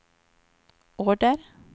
order